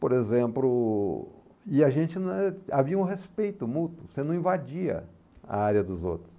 Por exemplo, e a gente não é, havia um respeito mútuo, você não invadia a área dos outros.